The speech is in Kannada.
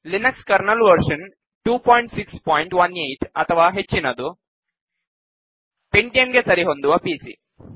ಲಿನಕ್ಸ್ ಕರ್ನಲ್ ವರ್ಶನ್ 2618 ಅಥವಾ ಹೆಚ್ಚಿನದು ಪೆಂಟಿಯಂ ಗೆ ಸರಿಹೊಂದುವ ಪಿಸಿ